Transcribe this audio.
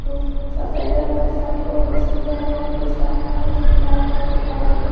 दो सफेद रंग का शर्ट और उसने गले में कुछ पहना हुआ जो की लाल कलर के धागे में है।